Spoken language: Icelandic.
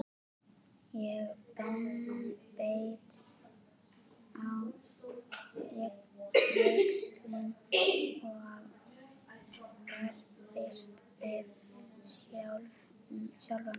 Ég beit á jaxlinn og barðist við sjálfa mig.